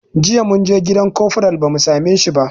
Jiya munje gidan kofral ba mu same shi ba